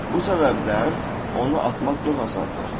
Bu səbəbdən onu atmaq çox asandır.